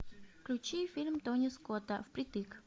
включи фильм тони скотта впритык